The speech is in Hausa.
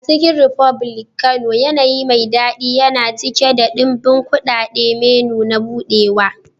A Chicken republic Kano, yanayi mai daɗi yana cike da ɗimbin kuɗaɗen menu na buɗewa.